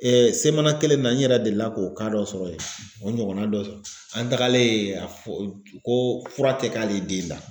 Semana kelen in na n yɛrɛ delila k'o dɔ sɔrɔ yen o ɲɔgɔnna dɔ an tagalen a fɔ ko fura tɛ k'ale den da.